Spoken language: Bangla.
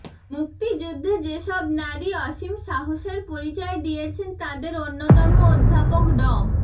মুক্তিযুদ্ধে যেসব নারী অসীম সাহসের পরিচয় দিয়েছেন তাঁদের অন্যতম অধ্যাপক ড